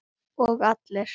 Og allir?